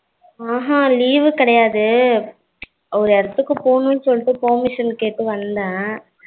அஹகா leave வு கிடையாது. ஒரு இடத்துக்கு போகணும்னு சொல்லிட்டு permission கேட்டு வந்த.